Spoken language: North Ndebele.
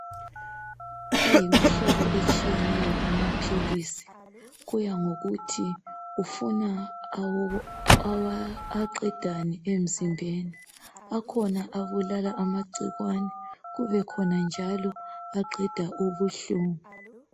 Ayimihlobo etshiyeneyo amaphilisi kusiya ngokuthi ufuna aqedani emzimbeni. Kukhona abulala amagcikwane, kubekhona njalo aqeda ubuhlungu.